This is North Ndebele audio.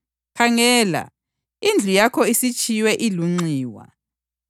Khangela, indlu yakho isitshiywe ilunxiwa.